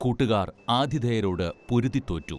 കൂട്ടുകാർ ആതിഥേയരോട് പൊരുതിത്തോറ്റു